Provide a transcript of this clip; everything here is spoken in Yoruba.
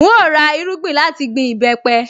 N óò ra irúgbìn láti gbin ìbẹ́pẹ